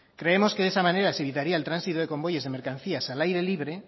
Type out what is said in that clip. creemos que de esa manera se quitaría el tránsito de convoyes de mercancías al aire libre